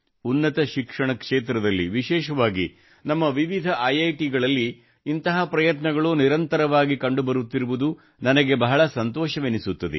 ಉನ್ನತ ಶಿಕ್ಷಣ ಕ್ಷೇತ್ರದಲ್ಲಿ ವಿಶೇಷವಾಗಿ ನಮ್ಮ ವಿವಿಧ ಐಐಟಿಗಳಲ್ಲಿ ಇಂತಹ ಪ್ರಯತ್ನಗಳು ನಿರಂತರವಾಗಿ ಕಂಡುಬರುತ್ತಿರುವುದು ನನಗೆ ಬಹಳ ಸಂತೋಷವೆನಿಸುತ್ತದೆ